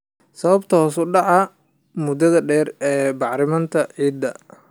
Sababo hoos u dhac muddo dheer ah ee bacriminta ciidda.